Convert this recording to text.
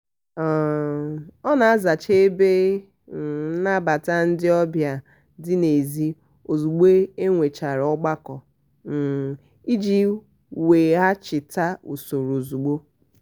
um ọ na-azacha ebe um nnabata ndị ọbịa dị n'ezi ozugbo e nwechara ọgbakọ um iji weghachite usoro ozugbo